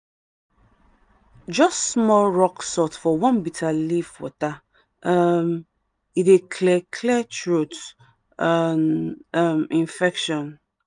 just small rock salt for warm bitter leaf water um dey clear clear throat um infection. um